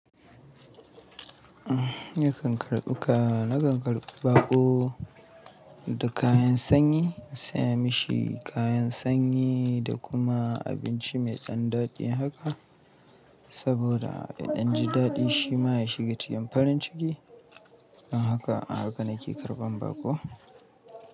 Eh, na ƙanƙarɓuka, na ƙanƙarɓa baƙo da kayan sanyi, na saya mashi kayan sanyi da kuma abinci mai ɗan daɗi haka, saboda ya ɗan ji daɗi shi ma ya shiga cikin farin ciki. Don haka, ahaka nake karɓan baƙo.